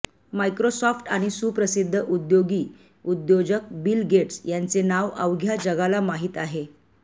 Microsoft आणि सुप्रसिद्ध उद्योगी उद्योजक बिल गेट्स यांचे नाव अवघ्या जगाला माहित आहे